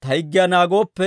ta higgiyaa naagooppe,